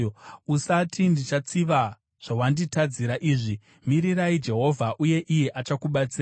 Usati, “Ndichatsiva zvawanditadzira izvi!” Mirira Jehovha, uye iye achakubatsira.